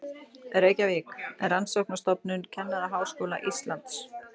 Reykjavík: Rannsóknarstofnun Kennaraháskóla Íslands.